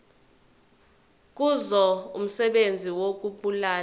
kuzo umsebenzi wokubulala